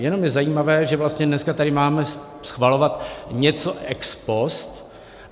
Jenom je zajímavé, že vlastně dneska tady máme schvalovat něco ex post.